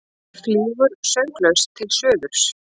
Flýgur sönglaus til suðurs.